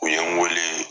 U ye n wele